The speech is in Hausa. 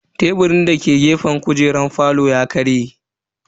Teburin dake gefen kujeran falon ya karye.